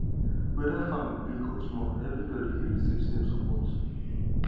weda farm big or small everybody dey receive same support